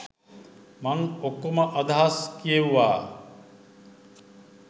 මං ඔක්කොම අදහස් කියෙව්වා.